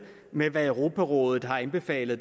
med hvad europarådet har anbefalet